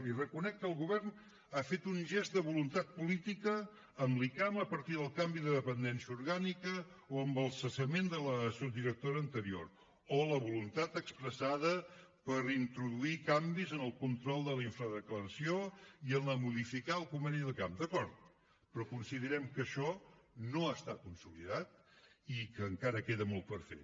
li reconec que el govern ha fet un gest de voluntat política amb l’icam a partir del canvi de dependència orgànica o amb el cessament de la subdirectora anterior o amb la voluntat expressada per introduir canvis en el control de la infradeclaració i a modificar el conveni de l’icam d’acord però considerem que això no està consolidat i que encara queda molt per fer